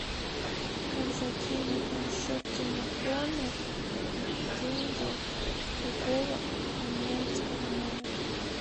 как закинуть на счет телефона деньги с другого абонентского номера